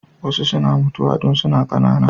Wasu suna mutuwa tun suna ƙanana.